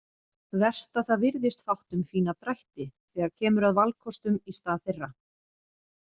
Verst að það virðist fátt um fína drætti þegar kemur að valkostum í stað þeirra.